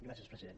gràcies president